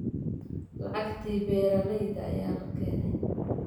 Lacagtii beeralayda ayaa la keenayaa